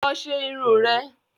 Lọ lọ ṣe irun rẹ